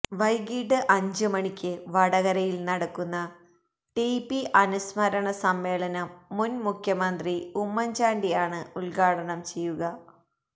വൈകിട്ട് അഞ്ച് മണിക്ക് വടകരയില് നടക്കുന്ന ടി പി അനുസ്മരണസമ്മേളനം മുന് മുഖ്യമന്ത്രി ഉമ്മന്ചാണ്ടിയാണ് ഉദ്ഘാടനം ചെയ്യുക